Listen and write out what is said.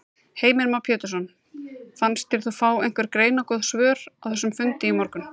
Heimir Már Pétursson: Fannst þér þú fá einhver greinargóð svör á þessum fundi í morgun?